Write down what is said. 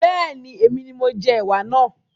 Bẹ́ẹ̀ni, èmi ni mo jẹ ẹwà náà